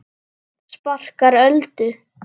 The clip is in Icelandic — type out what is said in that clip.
Sparkar Öldu.